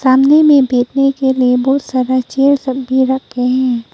सामने मे बैठने के लिए बहुत सारे चेयर सब भी रखे हैं।